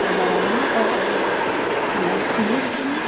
Trabalhava na roça, tinha sítio, né?